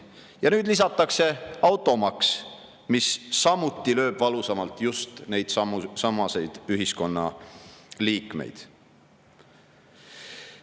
Ja nüüd lisatakse automaks, mis samuti lööb valusamalt just neidsamasid ühiskonna liikmeid.